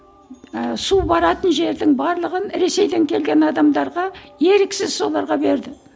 ыыы су баратын жердің барлығын ресейден келген адамдарға еріксіз соларға берді